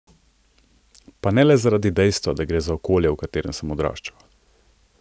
Pa ne le zaradi dejstva, da gre za okolje, v katerem sem odraščal.